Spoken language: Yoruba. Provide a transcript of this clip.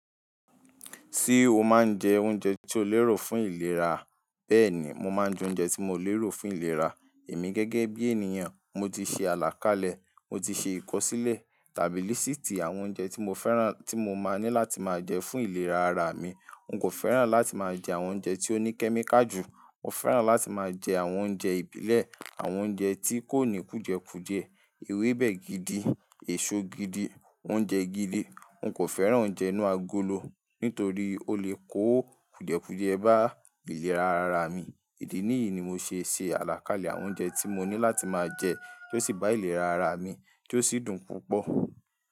Ṣé o máa ń jẹ oúnjẹ tí o lérò fún ìlera? Bẹ́ẹ̀ni, mo máa ń jẹ oúnjẹ tí mo lérò fún ìlera. Èmi gẹ́gẹ́ bí ènìyàn, mo ti ṣe àlàkalẹ̀, mo ti ṣe ìkọ́sílẹ̀ tàbí lístìì àwọn oúnjẹ tí mo fẹ́ràn tí mo máa ní láti máa jẹ fún ìlera ara mi. N kò fẹ́ràn láti máa jẹ àwọn oúnjẹ tí ó ní kẹ́míkà jù. Mo fẹ́ràn láti máa jẹ àwọn oúnjẹ ìbílẹ̀, àwọn oúnjẹ tí kò ní kùjẹ́kùjẹ́, ewébẹ̀ gidi, èso gidi, oúnjẹ gidi N kò fẹ́ràn oúnjẹ inú agolo nítorí ó lè kó kùjẹ́kùjẹ́ bá ìlera ara mi. Ìdí nìyí ni mo ṣe ṣe àlàkalẹ̀ àwọn oúnjẹ tí mo ní láti máa jẹ tó sì bá ìlera ara mi tó sì dùn púpọ̀.